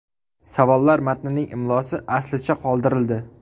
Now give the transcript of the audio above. Savollar matnining imlosi aslicha qoldirildi.